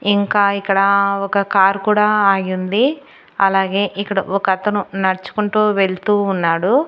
ఇంకా ఇక్కడ ఒక కారు కూడా ఆగి ఉంది అలాగే ఇక్కడ ఒకతను నడుచుకుంటూ వెళ్తూ ఉన్నాడు.